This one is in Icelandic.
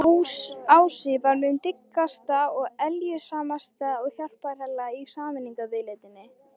Ási var mín dyggasta og eljusamasta hjálparhella í sameiningarviðleitninni.